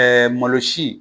Ɛɛ malosi